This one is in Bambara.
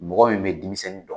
Mɔgɔ min bɛ denmisɛnnin dɔn?